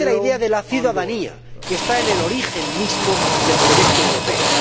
Fortalece la idea de la ciudadanía, que está en el origen mismo del proyecto europeo.